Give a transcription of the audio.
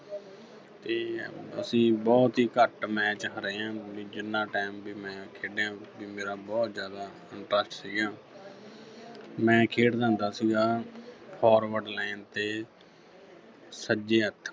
ਤੇ ਅਸੀਂ ਬਹੁਤ ਹੀ ਘੱਟ match ਹਾਰੇ ਆਂ ਵੀ ਜਿੰਨ੍ਹਾਂ time ਵੀ ਮੈਂ ਖੇਡਿਆ ਵੀ ਮੇਰਾ ਬਹੁਤ ਜ਼ਿਆਦਾ interest ਸੀਗਾ ਮੈਂ ਖੇਡਦਾ ਹੁੰਦਾ ਸੀਗਾ forward line ਤੇ ਸੱਜੇ ਹੱਥ